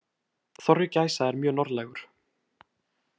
Þorri gæsa er mjög norðlægur.